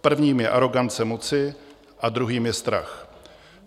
Prvním je arogance moci a druhým je strach.